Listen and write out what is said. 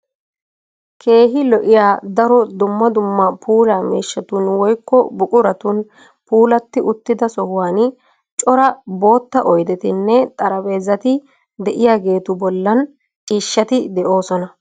Keehi lo'iyaa daro dumma dumma puulaa miishshatun woyikko buquratun puulatti uttida sohuwaani cora bootta oyidetinne xarapheezati de'iyaageetu bollan ciishshati de'oosona.